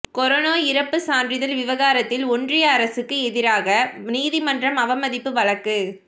corona இறப்பு சான்றிதழ் விவகாரத்தில் ஒன்றிய அரசுக்கு எதிராக நீதிமன்ற அவமதிப்பு வழக்கு